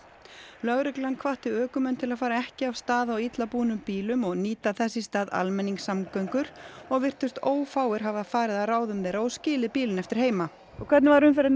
lögreglan hvatti ökumenn til að fara ekki af stað á illa búnum bílum og nýta þess í stað almenningssamgöngur og virtust ófáir hafa farið að ráðum þeirra og skilið bílinn eftir heima hvernig var umferðin í